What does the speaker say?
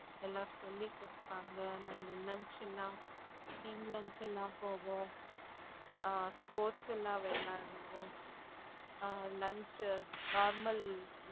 எல்லாம் சொல்லி கொடுத்தாங்க நாங்க நினைச்சோம்னா team lunch எல்லாம் போவோம் ஆஹ் sports எல்லாம் விளையாடுவோம் ஆஹ் lunch normal